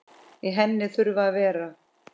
Í henni þurfa að vera